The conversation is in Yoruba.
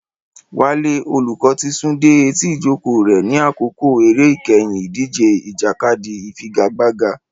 Wale, olùkọ́, ti sún dé etí ìjókòó rẹ̀ ní àkókò eré ìkẹyìn ìdíje ìjàkadì ìfigagbága.